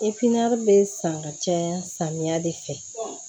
bɛ san ka caya samiya de fɛ